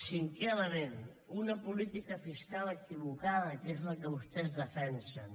cinquè element una política fiscal equivocada que és la que vostès defensen